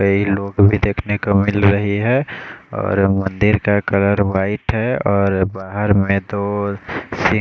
कई लोग भी देखने को मिल रहे है और मंदिर का कलर वाइट है और बहार में तो सी--